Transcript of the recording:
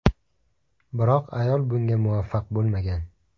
Biroq ayol bunga muvaffaq bo‘lmagan.